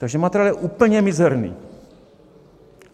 Takže materiál je úplně mizerný.